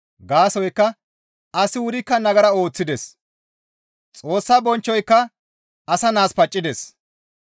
Gaasoykka asi wurikka nagara ooththides; Xoossa bonchchoyka asa naas paccides.